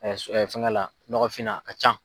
Fɛngɛ la nɔgɔfin na a ka ca.